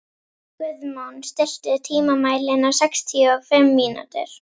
Guðmon, stilltu tímamælinn á sextíu og fimm mínútur.